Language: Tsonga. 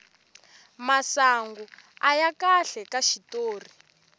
masangu aya kahle ka xitori